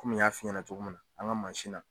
Komi n y'a f'i ɲɛnɛ cogo min na an ka mansin na.